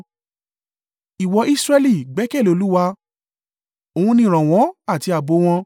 Ìwọ Israẹli gbẹ́kẹ̀lé Olúwa: òun ni ìrànwọ́ àti ààbò wọn